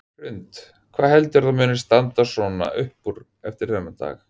Hrund: Hvað heldurðu að muni svona standa upp úr eftir þennan dag?